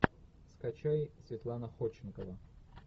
скачай светлана ходченкова